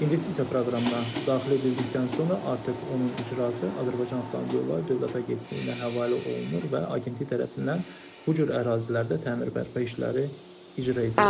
İnvestisiya proqramına daxil edildikdən sonra artıq onun icrası Azərbaycan Avtomobil Yolları Dövlət Agentliyinə həvalə olunur və Agentlik tərəfindən bu cür ərazilərdə təmir bərpa işləri icra edilir.